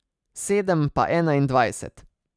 Sedem pa enaindvajset.